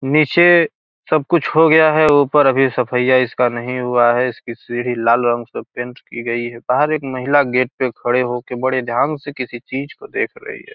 नीचे सब कुछ हो गया है ऊपर अभी सफाईया इसका नहीं हुआ है इसकी सीढ़ी लाल रंग से पेंट की गई है बाहर एक महिला गेट पे खड़े होके बड़े ध्यान से किसी चीज को देख रही है।